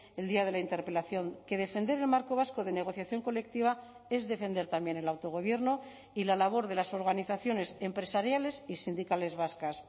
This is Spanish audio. el día de la interpelación que defender el marco vasco de negociación colectiva es defender también el autogobierno y la labor de las organizaciones empresariales y sindicales vascas